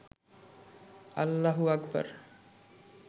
আল্লাহু আকবর